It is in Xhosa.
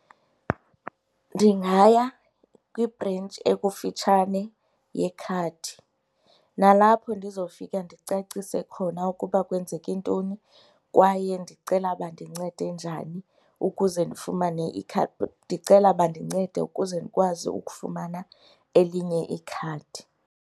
Ndingaya kwibhrentshi ekufitshane yekhadi nalapho ndizofika ndicacise khona ukuba kwenzeke ntoni kwaye ndicela bandincede njani ukuze ndifumane . Ndicela bandincede ukuze ndikwazi ukufumana elinye ikhadi.